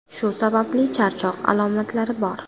Shu sababli charchoq alomatlari bor.